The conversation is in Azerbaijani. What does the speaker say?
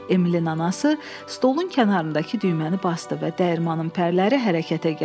Emilin anası stolun kənarındakı düyməni basdı və dəyirmanım pərləri hərəkətə gəldi.